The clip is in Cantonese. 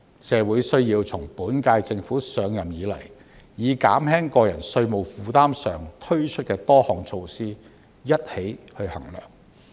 社會需要從本屆政府上任以來，將減輕個人稅務負擔上推出的多項措施一起衡量。